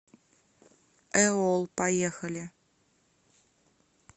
эол поехали